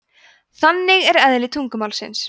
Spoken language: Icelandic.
þannig er eðli tungumálsins